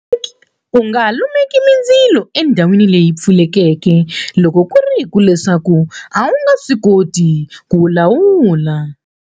U nga lumeki mindzilo e ndhawini leyi pfulekeke loko ku ri leswaku a wu nga swi koti ku wu lawula.